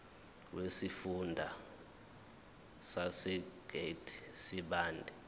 wesifunda sasegert sibande